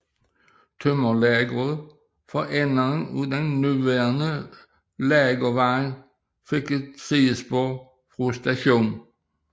Tømmerlageret for enden af den nuværende Lagervej fik et sidespor fra stationen